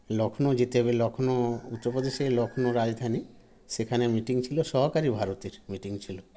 লক্ষ্ণৌ যেতে হবে লক্ষ্ণৌ উত্তর প্রদেশের লক্ষ্ণৌ রাজধানী সেখানে meeting ছিল সহকারী ভারতের meeting ছিল